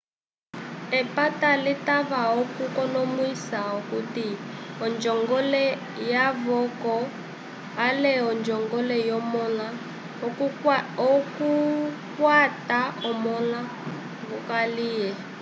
epata limwe litava okukonomwisa okuti onjongole yavoko ale onjongole yomõla okukwata omõla wokaliye